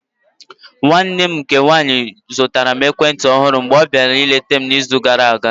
Nwanne nne m nke nwaanyi zụtara m ekwentị ọhụrụ mgbe ọ biara leta m n'izu gara aga.